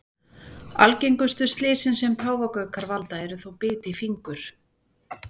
Algengustu slysin sem páfagaukar valda eru þó bit í fingur.